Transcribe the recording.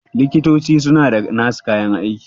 likitoci suna da nasu kayan aiki